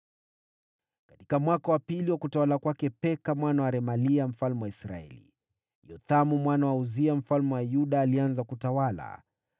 Katika mwaka wa pili wa utawala wa Peka mwana wa Remalia mfalme wa Israeli, Yothamu mwana wa Uzia mfalme wa Yuda alianza kutawala.